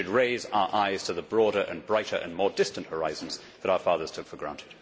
We should raise our eyes to the broader, brighter and more distant horizons that our fathers took for granted.